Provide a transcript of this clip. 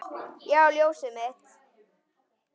Já, ljósið mitt.